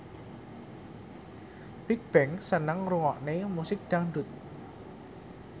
Bigbang seneng ngrungokne musik dangdut